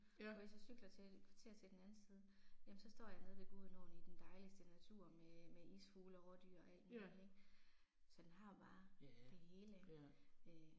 Og hvis jeg cykler til et kvarter til den anden side jamen så står jeg nede ved Gudenåen i den dejligste natur med med isfulge og rådyr og alt muligt ik. Så den har bare det hele øh